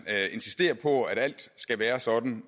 insisterer på at alt skal være sådan